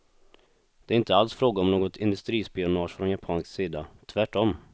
Det är inte alls fråga om något industrispionage från japansk sida, tvärtom.